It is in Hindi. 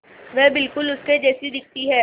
वह बिल्कुल उसके जैसी दिखती है